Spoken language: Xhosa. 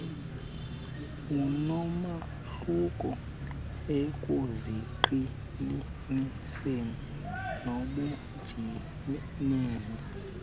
onomahluko ekuziqhelaniseni nobunjineli